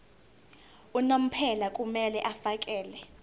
unomphela kumele afakele